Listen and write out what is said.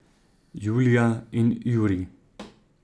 Julija in Jurij ...